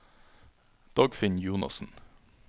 Dagfinn Jonassen